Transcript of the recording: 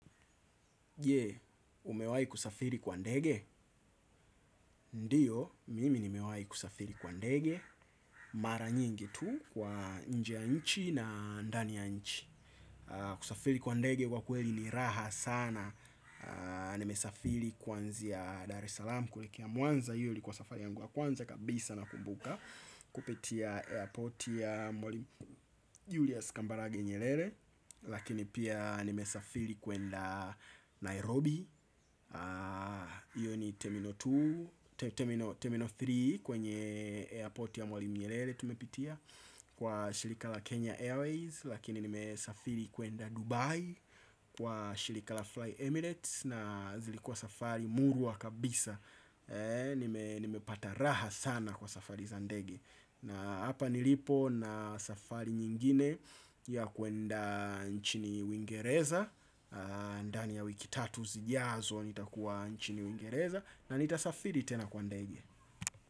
Je, umewai kusafiri kwa ndege? Ndiyo, mimi nimewai kusafiri kwa ndege. Mara nyingi tu kwa nje ya nchi na ndani ya nchi. Kusafiri kwa ndege kwa kweli ni raha sana. Nimesafiri kwanzia Dar es Salaam kuelekea mwanza iyo ilikuwa safari yangu ya kwanza kabisa nakumbuka. Kupitia airporti ya Julius Kambarage Nyerere. Lakini pia nimesafiri kwenda Nairobi. Iyo ni termino tatu kwenye airport ya mwalimu nyerere tumepitia kwa shirikala Kenya Airways. Lakini nimesafiri kuenda Dubai. Kwa shirik la Fly Emirates Na zilikua safari mungu wakabisa. Nimepata raha sana kwa safari za ndege. Na hapa nilipo na safari nyingine ya kuenda nchini wingereza ndani ya wiki tatu zijazona nitakuwa nchini wingereza na nitasafiri tena kwa ndenge.